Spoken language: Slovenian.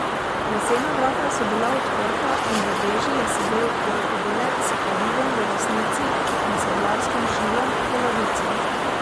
Lesena vrata so bila odprta in v veži je sedel rokodelec s kladivom v desnici in sedlarskim šilom v levici.